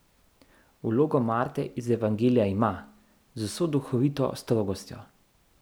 Vlogo Marte iz Evangelija ima, z vso duhovito strogostjo.